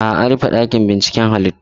A'a, an rufe ɗakin binciken halittu.